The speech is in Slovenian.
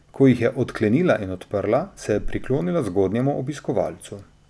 Ko jih je odklenila in odprla, se je priklonila zgodnjemu obiskovalcu.